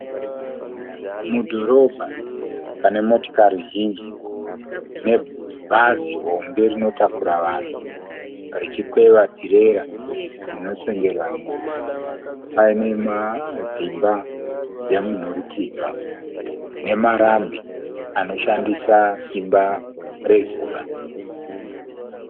Mudhorobha pane motikari zhinji nebhazi hombe rinotakura vanhu richikwewa tirera inosengerwa nhumbi. Paine dzimba dzemunhurikidzwa, nemarambi anoshandisa simba rezuva .